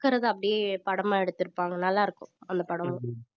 இருக்கறதை அப்படியே படமா எடுத்திருப்பாங்க நல்லா இருக்கும் அந்த படமும்